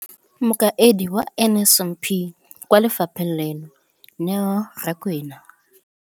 Mokaedi wa NSNP kwa lefapheng leno, Neo Rakwena,